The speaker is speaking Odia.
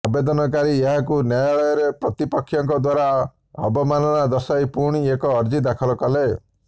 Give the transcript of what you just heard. ଆବେଦନକାରୀ ଏହାକୁ ନ୍ୟାୟାଳୟରେ ପ୍ରତିପକ୍ଷଙ୍କ ଦ୍ୱାରା ଅବମାନନା ଦର୍ଶାଇ ପୁଣି ଏକ ଅର୍ଜି ଦାଖଲ କଲେ